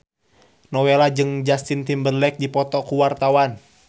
Nowela jeung Justin Timberlake keur dipoto ku wartawan